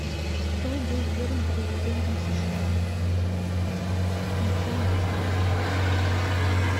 кто был первым президентом сша и чем он прославился